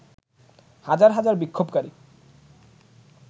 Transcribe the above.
হাজার হাজার বিক্ষোভকারী